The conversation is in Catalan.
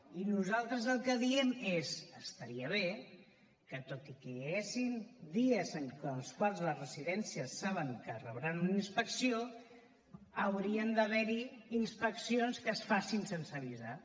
i nosaltres el que diem és estaria bé que tot i que hi haguessin dies en els quals les residències saben que rebran una inspecció haurien d’haver hi inspeccions que es facin sense avisar